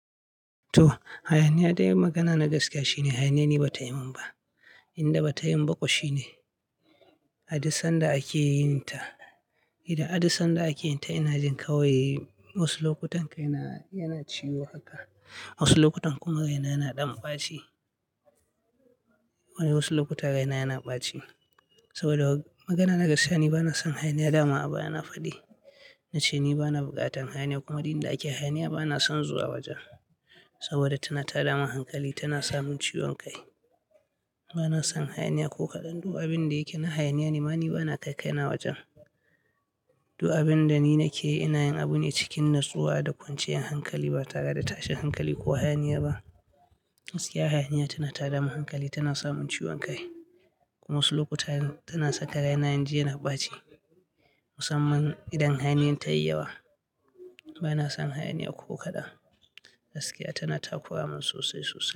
To, hayaniya, dai magana na gaskiya shine hayaniya ni ba ta yi mun ba. Inda ba ta yin ba kuwa shine, aduk san da ake yin ta. Idan aduk san da ake yin ta yana jin kawai, wasu lokutan kaina yana ciwo haka. Wasu lokutan kuma raina yana ɗan ɓaci. Wani wasu lokuta raina yana ɓaci. Saboda magana na gaskiya, ni ba na son hayaniya, dama a baya na fadi. Nace ni ba na bukatan hayaniya kuma duk inda ake hayaniya ba na son zuwa wajen. Saboda tana tada min hankali, tana samun ciwon kai. Ba na son hayaniya ko kaɗan. Du'a bin da yake na hayaniya nema ni ba na kai kai na wajen. Du'a bin da ni nake yi ina yin abu ne cikin natsuwa da kwanciyar hankali ba tare da tashin hankali ko hayaniya ba. Gaskiya hayaniya tana tada min hankali, tana samun ciwon kai. Kuma wasu lokuta tana saka raina in ji yana ɓaci. Musamman idan hayaniyar ta yi yawa. Ba na son hayaniya ko kaɗan. Gaskiya tana takura mun sosai sosai.